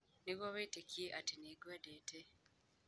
Nĩguo wĩtĩkie atĩ nĩ ngwendete.